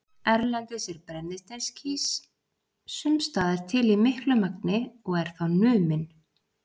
Erlendis er brennisteinskís sums staðar til í miklu magni og er þá numinn.